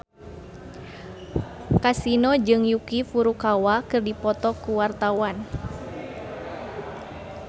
Kasino jeung Yuki Furukawa keur dipoto ku wartawan